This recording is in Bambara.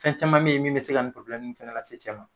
Fɛn caman me ye min be se ka nin nin fɛnɛ lase cɛ ma.